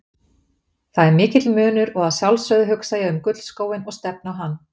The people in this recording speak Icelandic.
Það er mikill munur og að sjálfsögðu hugsa ég um gullskóinn og stefni á hann.